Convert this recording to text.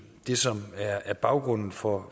det som er baggrunden for